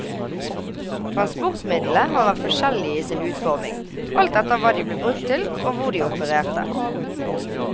Transportmidlene har vært forskjellige i sin utforming, alt etter hva de ble brukt til og hvor de opererte.